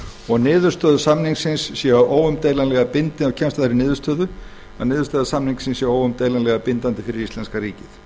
og kemst að þeirri niðurstöðu að niðurstöður samningsins séu óumdeilanlega bindandi fyrir íslenska ríkið